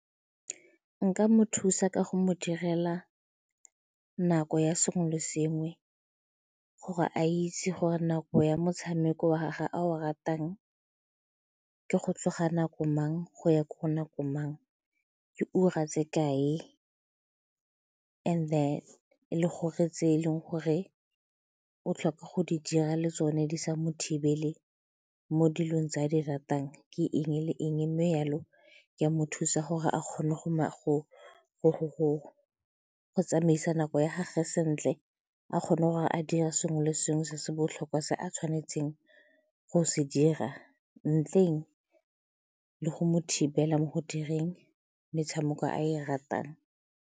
Nka mo thusa ka go mo direla nako ya sengwe le sengwe gore a itse gore nako ya motshameko wa gage a o ratang ke go tsoga nako mang go ya ka nako mang, ke ura tse kae and then le gore tse e leng gore o tlhoka go di dira le tsone di sa mo thibele mo dilong tse a di ratang ke eng le eng mme jalo ke a mo thusa gore a kgone go tsamaisa nako ya gage sentle a kgone gore a dira sengwe le sengwe se se botlhokwa se a tshwanetseng go se dira ntleng le go mo thibela mo go direng metshameko a e ratang.